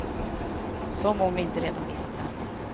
Som om vi inte redan visste.